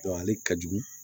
ale ka jugu